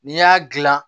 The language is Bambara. N'i y'a gilan